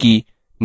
करें